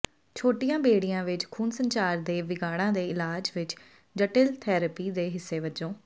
ਛੋਟੀਆਂ ਬੇੜੀਆਂ ਵਿਚ ਖੂਨ ਸੰਚਾਰ ਦੇ ਵਿਗਾੜਾਂ ਦੇ ਇਲਾਜ ਵਿਚ ਜਟਿਲ ਥੈਰੇਪੀ ਦੇ ਹਿੱਸੇ ਵਜੋਂ